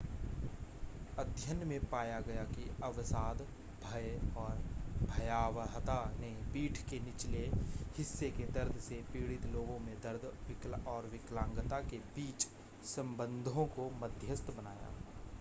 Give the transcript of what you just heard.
अध्ययन में पाया गया कि अवसाद भय और भयावहता ने पीठ के निचले हिस्से के दर्द से पीड़ित लोगों में दर्द और विकलांगता के बीच संबंधों को मध्यस्थ बनाया